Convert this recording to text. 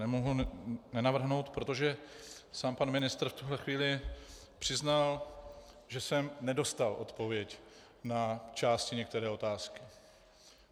Nemohu nenavrhnout, protože sám pan ministr v tuhle chvíli přiznal, že jsem nedostal odpověď na části některé otázky.